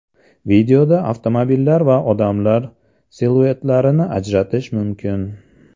Videoda avtomobillar va odamlar siluetlarini ajratish mumkin.